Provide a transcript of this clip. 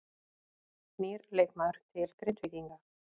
Nýr leikmaður til Grindvíkinga